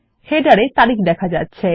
শিরোলেখ তে তারিখ দেখা যাচ্ছে